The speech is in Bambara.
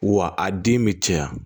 Wa a den bɛ caya